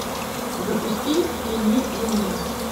запусти в тени луны